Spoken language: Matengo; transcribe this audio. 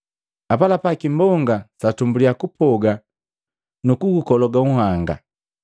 Apalapa kimbonga satumbuliya kupoga nuku ukologa nhanga.